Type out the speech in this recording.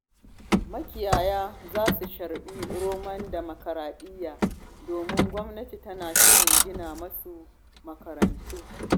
Makiyaya za su sharɓi romon dimokuraɗiya, domin gwamnati tana shirin gina musu makarantu.